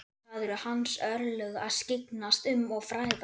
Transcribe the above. Það eru hans örlög að skyggnast um og fræðast.